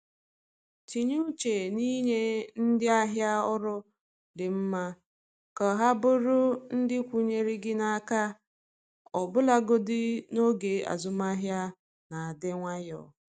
Tinye uche n’inye ndị ahịa ọrụ dị mma ka ha bụrụ ndị kwụụrụ gị n’aka ọbụlagodi n’oge azụmahịa na-adị nwayọ.